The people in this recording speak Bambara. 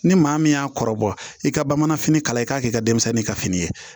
Ni maa min y'a kɔrɔbɔ i ka bamananfini kala i k'a kɛ i ka denmisɛnnin ka fini ye